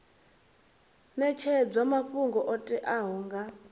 netshedzwa mafhungo o teaho nga